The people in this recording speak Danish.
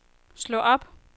slå op